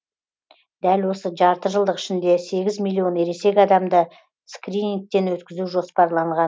дәл осы жартыжылдық ішінде сегіз миллион ересек адамды скринингтен өткізу жоспарланған